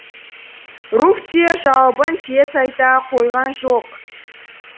руфь те жауабын тез айта қойған жоқ